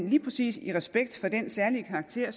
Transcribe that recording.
lige præcis i respekt for den særlige karakter